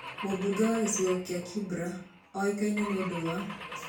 Mũmbunge wa gĩcigo kĩá Kibra ũĩkaine nĩ ũndũ wa?